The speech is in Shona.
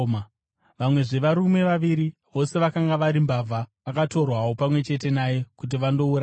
Vamwezve varume vaviri, vose vakanga vari mbavha, vakatorwawo pamwe chete naye kuti vandourayiwa.